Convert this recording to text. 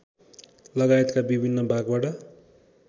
लगायतका विभिन्न भागबाट